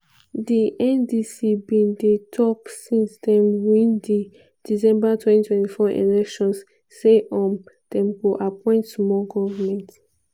di ndc bin dey tok since dem win di december 2024 elections say um dem go appoint small goment